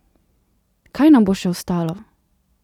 Kaj nam bo še ostalo?